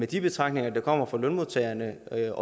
de betragtninger der kommer fra lønmodtagerne der